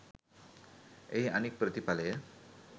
එහි අනෙක් ප්‍රතිඵලය